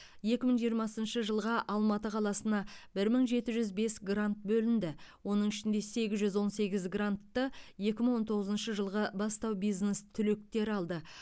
екі мың жиырмасыншы жылға алматы қаласына мың жеті жүз бес грант бөлінді оның ішінде сегіз жүз он сегіз грантты екі мың он тоғызыншы жылғы бастау бизнес түлектері алды